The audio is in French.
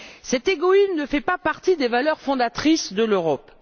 Cet égoïsme ne fait pas partie des valeurs fondatrices de l'Europe.